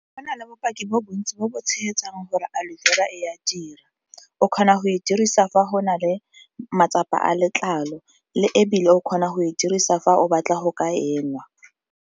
Go na le bopaki bo bontsi bo bo tshegetsang gore Aloe Vera e a dira, o kgona go e dirisa fa go na le matsapa a letlalo le ebile o kgona go e dirisa fa o batla go ka enwa.